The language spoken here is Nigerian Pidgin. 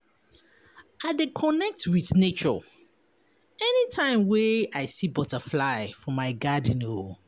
I dey connect wit nature anytime wey I see butterfly for my garden.